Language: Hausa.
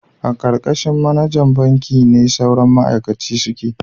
A karkashin manajan banki ne sauran ma'aikaci suke